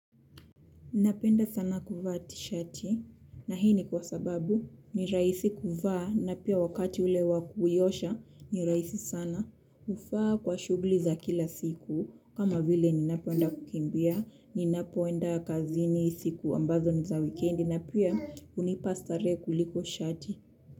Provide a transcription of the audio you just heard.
Napenda sana kuvaa tishati na hii ni kwa sababu ni rahisi kuvaa na pia wakati ule wa kuiosha ni rahisi sana. Hufaa kwa shughuli za kila siku kama vile ninapoenda kukimbia ninapoenda kazini siku ambazo ni za wikendi na pia hunipa starehe kuliko shati.